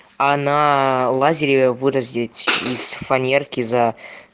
на лазаре выразить из фанерки за